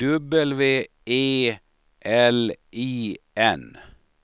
W E L I N